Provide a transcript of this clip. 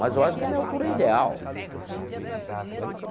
Mas eu acho que a minha altura é ideal.